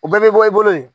O bɛɛ bɛ bɔ i bolo yen